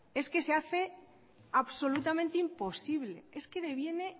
es que se hace absolutamente imposible es que deviene